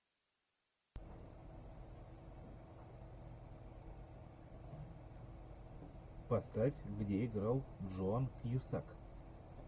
поставь где играл джон кьюсак